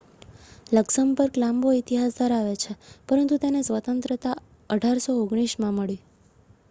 Luxembourg લાંબો ઇતિહાસ ધરાવે છે પરંતુ તેને સ્વતંત્રતા 1839 માં મળી